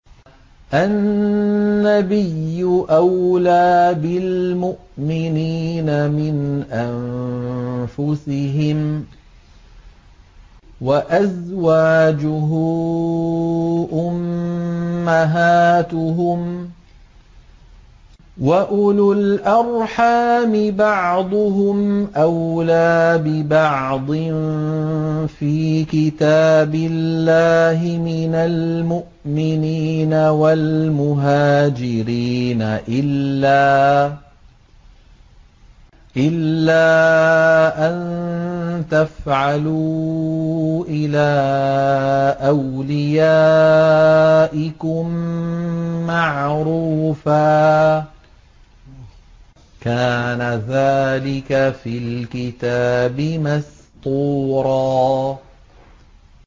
النَّبِيُّ أَوْلَىٰ بِالْمُؤْمِنِينَ مِنْ أَنفُسِهِمْ ۖ وَأَزْوَاجُهُ أُمَّهَاتُهُمْ ۗ وَأُولُو الْأَرْحَامِ بَعْضُهُمْ أَوْلَىٰ بِبَعْضٍ فِي كِتَابِ اللَّهِ مِنَ الْمُؤْمِنِينَ وَالْمُهَاجِرِينَ إِلَّا أَن تَفْعَلُوا إِلَىٰ أَوْلِيَائِكُم مَّعْرُوفًا ۚ كَانَ ذَٰلِكَ فِي الْكِتَابِ مَسْطُورًا